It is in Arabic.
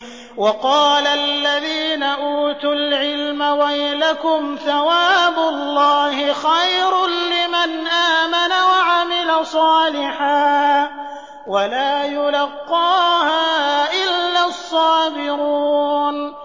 وَقَالَ الَّذِينَ أُوتُوا الْعِلْمَ وَيْلَكُمْ ثَوَابُ اللَّهِ خَيْرٌ لِّمَنْ آمَنَ وَعَمِلَ صَالِحًا وَلَا يُلَقَّاهَا إِلَّا الصَّابِرُونَ